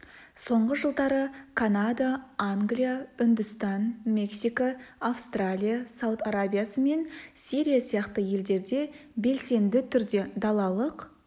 соңғы жылдары канада англия үндістан мексика австралия сауд арабиясы мен сирия сияқты елдерде белсенді түрде далалық